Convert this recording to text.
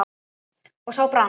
og sá brann